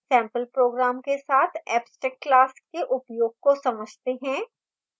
sample program के साथ abstract class के उपयोग को समझते हैं